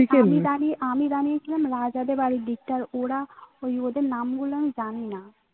আমি দাঁড়িয়ে আমি দাঁড়িয়েছিলাম রাজা দেড় বাড়ির দিকটা ওরা ওই ওদের নামগুলা আমি জানিনা